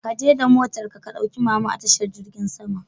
Ka je da motar ka, ka ɗauki mama a tashar jirgin sama.